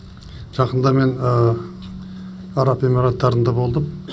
жақында мен араб эмираттарында болдым